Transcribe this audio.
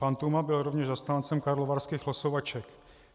Pan Tůma byl rovněž zastáncem karlovarských losovaček.